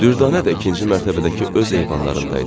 Dürdanə də ikinci mərtəbədəki öz eyvanlarındaydı.